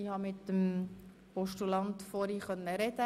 Ich habe vorhin mit dem Postulaten sprechen können.